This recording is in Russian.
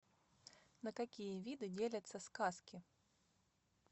на какие виды делятся сказки